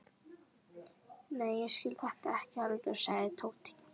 Nei, ég skil þetta ekki heldur sagði Tóti.